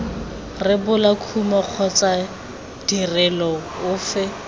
rebola kumo kgotsa tirelo efe